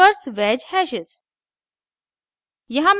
inverse wedge hashes inverse wedge hashes